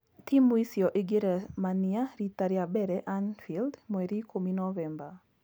Timũ icio igĩremania rita rĩa mbere Anfield mweri ikũmi novemba